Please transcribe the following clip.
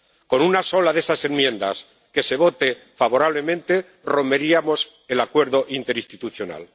Con una sola de esas enmiendas que se vote favorablemente romperíamos el acuerdo interinstitucional.